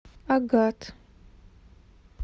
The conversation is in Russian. агат